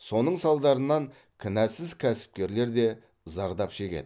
соның салдарынан кінәсіз кәсіпкерлер де зардап шегеді